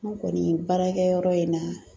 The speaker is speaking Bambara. An kɔni baarakɛ yɔrɔ in na.